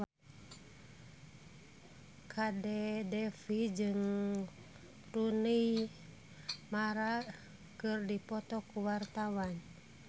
Kadek Devi jeung Rooney Mara keur dipoto ku wartawan